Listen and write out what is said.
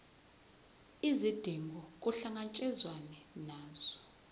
izidingo kuhlangatshezwane nazo